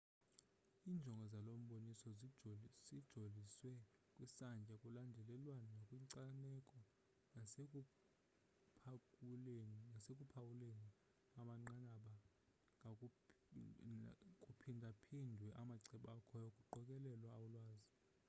injongo zalomboni sijoliswe kwisantya kulandelelwano nakwinkcaneko nasekuphawuleni amanqanaba kuphindaphindwe amacebo akhoyo kuqokelelwe ulwazi